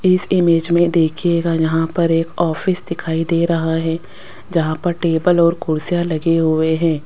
इस इमेज में देखिएगा यहां पर एक ऑफिस दिखाई दे रहा है जहां पर टेबल और कुर्सियां लगे हुए हैं।